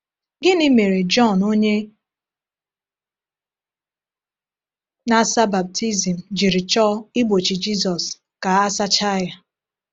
Gịnị mere Jọn Onye Na-asa Baptizim jiri chọọ igbochi Jizọs ka a sachaa ya?